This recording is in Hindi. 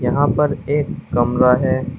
यहां पर एक कमरा है।